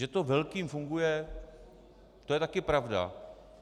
Že to velkým funguje, to je taky pravda.